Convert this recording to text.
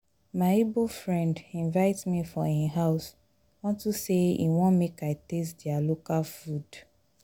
my igbo friend invite me for im house unto say he want make i taste their local food